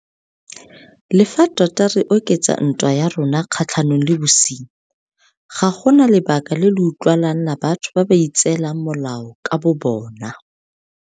Le fa tota re oketsa ntwa ya rona kgatlhanong le bosenyi, ga go na lebaka le le utlwalang la batho ba ba itseelang molao ka bobona.